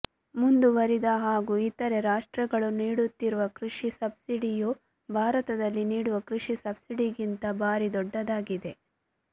ಮುಂದುವರೆದ ಹಾಗೂ ಇತರೆ ರಾಷ್ಟ್ರಗಳು ನೀಡುತ್ತಿರುವ ಕೃಷಿ ಸಬ್ಸಿಡಿಯು ಬಾರತದಲ್ಲಿ ನೀಡುವ ಕೃಷಿ ಸಬ್ಸಿಡಿಗಿಂತ ಬಾರಿ ದೊಡ್ಡದಾಗಿದೆ